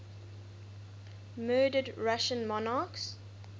murdered russian monarchs